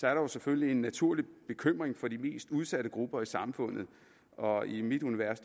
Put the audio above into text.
er der selvfølgelig en naturlig bekymring for de mest udsatte grupper i samfundet og i mit univers